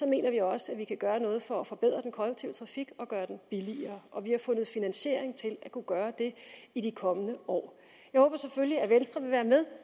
mener vi også at vi kan gøre noget for at forbedre den kollektive trafik og gøre den billigere og vi har fundet finansiering til at kunne gøre det i de kommende år jeg håber selvfølgelig at venstre vil være med